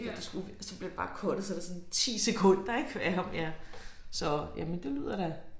Og det skulle så blev det bare cuttet så det sådan 10 sekunder ik af ham ja så men det lyder da